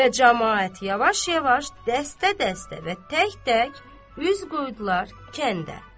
Və camaat yavaş-yavaş, dəstə-dəstə və tək-tək üz qoydular kəndə.